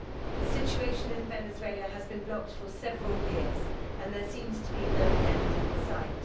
The situation in Venezuela has been blocked for several years, and there seems to be no end in sight.